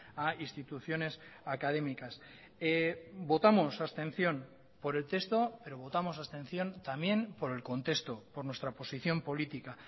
a instituciones académicas votamos abstención por el texto pero votamos abstención también por el contexto por nuestra posición política